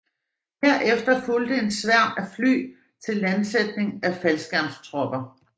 Herefter fulgte en sværm af fly til landsætning af faldskærmstropper